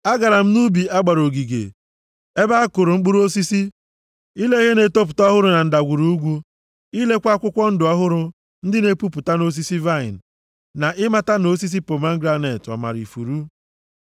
Agara m nʼubi a gbara ogige ebe a kụrụ mkpụrụ osisi, ile ihe na-etopụta ọhụrụ na ndagwurugwu, ilekwa akwụkwọ ndụ ọhụrụ ndị na-epupụta nʼosisi vaịnị, na ị mata ma nʼosisi pomegranet ọ mara ifuru.